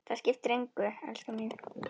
Það skiptir engu, elskan mín.